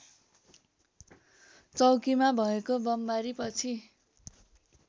चौकीमा भएको बमबारीपछि